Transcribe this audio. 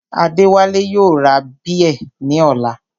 Adéwálé yóò ra bíẹ̀ ní ọ̀la